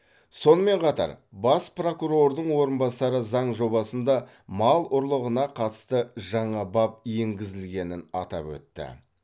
сонымен қатар бас прокурордың орынбасары заң жобасында мал ұрлығына қатысты жаңа бап енгізілгенін атап өтті